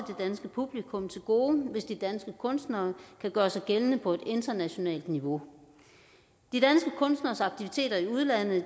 danske publikum til gode hvis de danske kunstnere kan gøre sig gældende på et internationalt niveau de danske kunstneres aktiviteter i udlandet